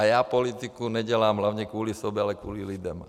A já politiku nedělám hlavně kvůli sobě, ale kvůli lidem.